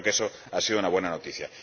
Creo que eso ha sido una buena noticia.